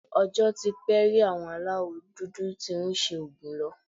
Ọjọ́ tí pé rí àwọn aláwọ̀ dúdú tí ń ṣi òògùn lò